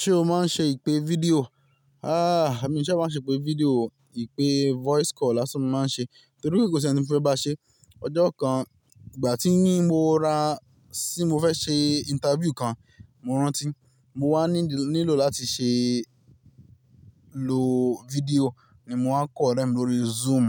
Ṣé o máa ń ṣe ìpè fídíò? Haa, èmi kì í ṣe máa ń ṣe ìpè fídíò o. Ipe fọis kọ lasan ni mo man n se.toripe ko si eni monfe ba se Ìpè voice call lásán ni mo máa ń ṣe torí pé kò sí ẹni tí mo fẹ́ bá ṣe. Ọjọ́ kan ìgbà tí ní mo ra, tí mo fẹ́ ṣe interview kan, mo rántí mo wá nílò láti ṣe lo fídíò ni mo wá kọ̀ rẹ̀ lórí Zoom.